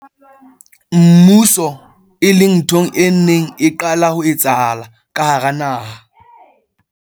mmuso, e leng ntho e neng e qala ho etsahala ka hara naha.